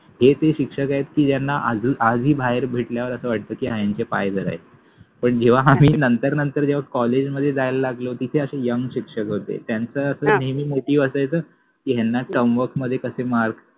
हे ते शिक्षक आहेत ज्याना आजहि बाहेर भेटल्यावर अस वाटत कि हा यांचे पाय धरायचे पण जेव्हा आम्हि नंतर नंतर जेव्हा कॉलेज मधे जायला लागलो तिथे अशे यंग शिक्षक होते त्यांच अस नेहमि मोटिव असायच कि टर्मवर्क मधे मार्क